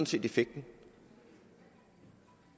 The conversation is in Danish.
set effekten